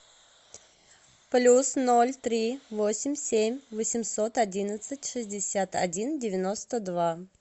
плюс ноль три восемь семь восемьсот одиннадцать шестьдесят один девяносто два